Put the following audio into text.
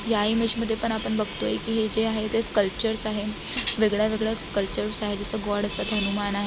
या इमेज मध्ये पण आपण बघतोय की हे जे आहे कल्च्रर्स आहे वेगळ्यावेगळ्या कल्च्रर्स जस गॉड असत हनुमान आहे.